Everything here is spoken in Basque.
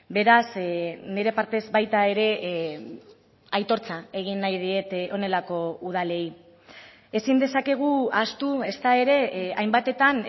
beraz nire partez baita ere aitortza egin nahi diet honelako udalei ezin dezakegu ahaztu ezta ere hainbatetan